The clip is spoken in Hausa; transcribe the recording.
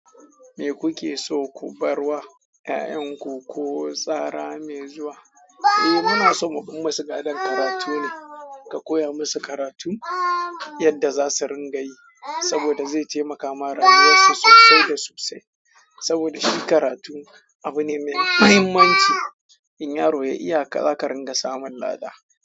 Me kuke so ku bar wa 'ya'yanku ko tsara mai zuwa? Eh muna son mu bar ma su gadon karatu ne. Ka koya musu karatu yadda za su ringa yi saboda zai taimaka ma rayuwarsu sosai da sosai. Saboda shi karatu abu ne mai mahimmanci. In yaro ya iya, ka zaka ringa samun lada.